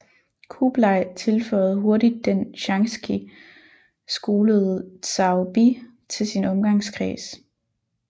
Kublai tilføjede hurtigt den Shanxi skolede Zhao Bi til sin omgangskreds